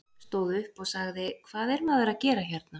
Stóð upp og sagði: Hvað er maður að gera hérna?